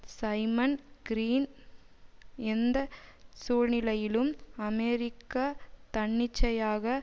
Simon Green எந்த சூழ்நிலையிலும் America தன்னிச்சையாக